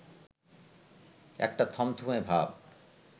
একটা থমথমে ভাব